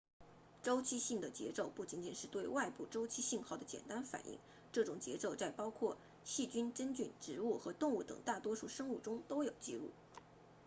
周期性的节奏不仅仅是对外部周期信号的简单反应这种节奏在包括细菌真菌植物和动物等大多数生物中都有记录